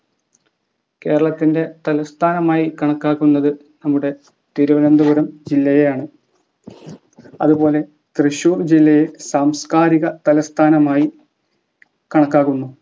കേരളത്തിൻ്റെ തലസ്ഥാനം ആയി കണക്കാക്കുന്നത് നമ്മുടെ തിരുവനന്തപുരം ജില്ലയെ ആണ് അതുപോലെ തൃശൂർ ജില്ലയെ സാംസ്‌കാരിക തലസ്ഥാനമായി കണക്കാക്കുന്നു